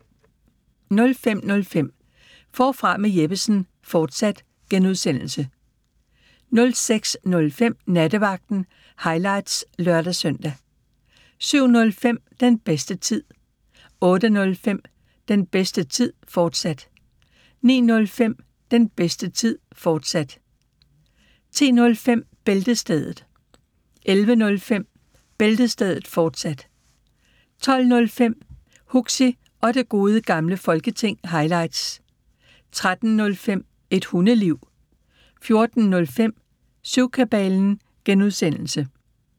05:05: Forfra med Jeppesen fortsat (G) 06:05: Nattevagten – highlights (lør-søn) 07:05: Den bedste tid 08:05: Den bedste tid, fortsat 09:05: Den bedste tid, fortsat 10:05: Bæltestedet 11:05: Bæltestedet, fortsat 12:05: Huxi og Det Gode Gamle Folketing – highlights 13:05: Et Hundeliv 14:05: Syvkabalen (G)